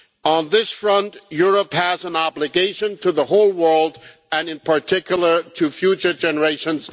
On this front, Europe has an obligation to the whole world and in particular to future generations.